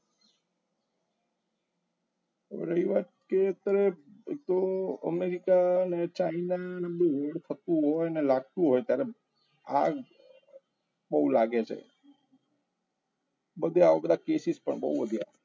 રહી વાત કે અત્યારે એક તો અમેરિકા અને ચાઇના અને લાગતું હોય ને ત્યારે બહુ લાગે છે બધી આ બધા cases પણ વધ્યા